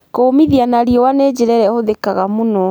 Kũmithia na riũa nĩ njĩra ĩrĩa ĩhũthĩkaga mũno.